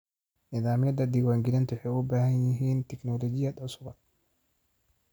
Nidaamyada diiwaangelintu waxay u baahan yihiin tignoolajiyad cusub.